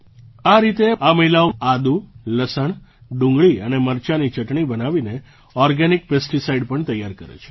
આ રીતે આ મહિલાઓ આદુ લસણ ડુંગળી અને મરચાંની ચટણી બનાવીને ઑર્ગેનિક પેસ્ટિસાઇડ પણ તૈયાર કરે છે